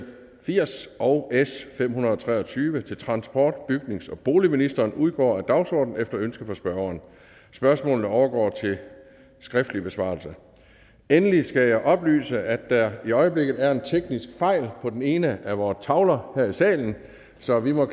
firs og s fem hundrede og tre og tyve til transport bygnings og boligministeren udgår af dagsordenen efter ønske fra spørgeren spørgsmålene overgår til skriftlig besvarelse endelig skal jeg oplyse at der i øjeblikket er en teknisk fejl på den ene af vore tavler her i salen så vi må